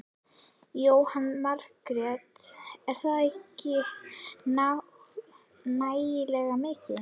Jóhanna Margrét: Er þetta ekki nægilega mikið?